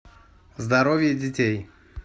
здоровье детей